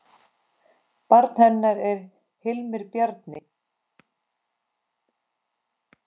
Barn hennar er Hilmir Bjarni.